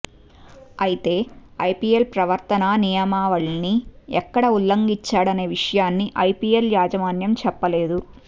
అయితే ఐపిఎల్ ప్రవర్తనా నియమావళిని ఎక్కడ ఉల్లంఘించాడనే విషయాన్ని ఐపిఎల్ యాజమాన్యం చెప్పలేదు